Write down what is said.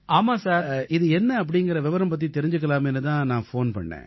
இது என்ன அப்படீங்கற விவரம் பத்தி தெரிஞ்சுக்கலாமேன்னு தான் நான் ஃபோன் செஞ்சிருக்கேன்